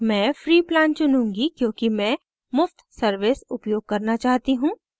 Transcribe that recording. मैं free plan चुनूँगी क्योंकि मैं मुफ़्त service उपयोग करना चाहती choose